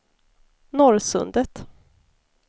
Norrsundet